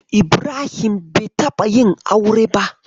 Ibrahim bai taɓa yin aure ba.